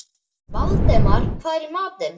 Valdemar, hvað er í matinn?